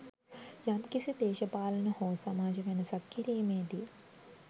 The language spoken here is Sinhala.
යම්කිසි දේශපාලන හෝ සමාජ වෙනසක් කිරීමේදී